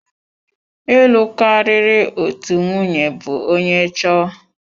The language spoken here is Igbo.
Ịlụ karịrị otu nwunye bụ onye chọọ.